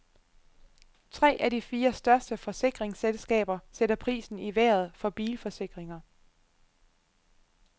Tre af de fire største forsikringsselskaber sætter prisen i vejret for bilforsikringer.